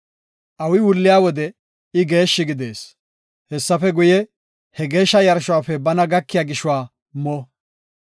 Awi wulliya wode I geeshshi gidees. Hessafe guye, he geeshsha yarshuwafe bana gakiya gishuwa mo.